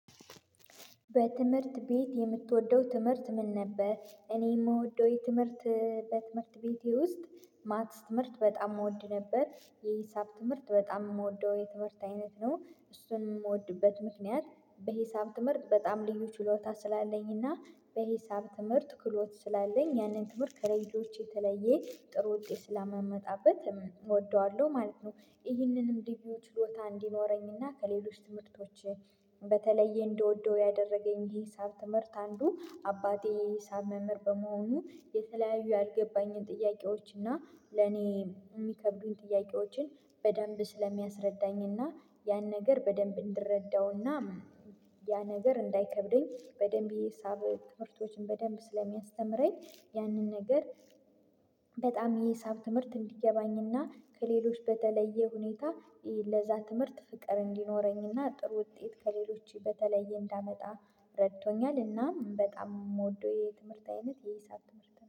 በትምህርት ቤት የምትወደው ትምህርት ምን ነበር? እኔ የምወደው የትምህርት በትምህርት ቤቴ ውስጥ ማትስ ትምህርት በጣም እወድ ነበር። የሂሳብ ትምህርት በጣም የምወደው የትምህርት አይነት ነው፣ እሱን የምወድበት ምክንያት በሂሳብ ትምህርት በጣም ልዩ ችሎታ ስላለኝ እና በሂሳብ ትምህርት ክህሎት ስላለኝ ያንን ትምህርት ከሌሎች የተለየ ጥሩ ውጤት ስማመመጣበት እወደዋለሁ ማለት ነው። ይህንን እንዲህ ቢው ችሎታ እንዲኖረኝና ከሌሎች ትምህርቶች በተለየ እንደወደው ያደረገኝ ይሄ ሂሳብ ትምህርት አንዱ አባቴ ሂሳብ መምህር በመሆኑ የተለያዩ ያልገባኝን ጥያቄዎች እና ለኔ የሚከብዱኝ ጥያቄዎችን በደንብ ስለሚያስረዳኝ እና ያን ነገር በደንብ እንድረዳውና ያ ነገር እንዳይከብደኝ በደንብ የሂሳበ ትምህርቶችን በደንብ ስለሚያስተምረኝ ያንን ነገር በጣም የሂሳብ ትምህርት እንዲገባኝና ከሌሎች በተለየ ሁኔታ ለዛ ትምህርት ፍቅር እንዲኖረኝና ጥሩ ውጤት ከሌሎች በተለየ እንዳመጣ እረድቶኛል እና በጣም የምወደው የትምህርት አይነት የሂሳብ ትምህርት ነው።